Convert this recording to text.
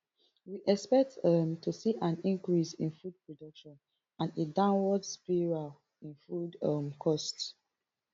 we expect um to see an increase in food production and a downward spiral in food um costs